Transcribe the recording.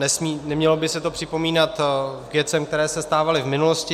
Nemělo by se to připomínat k věcem, které se stávaly v minulosti.